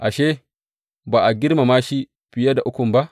Ashe, ba a girmama shi fiye da Ukun ba?